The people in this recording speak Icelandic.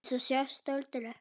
Til þess að sjást aldrei.